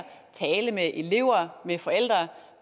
tale med elever med forældre